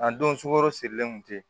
A don sukoro sirilen kun tɛ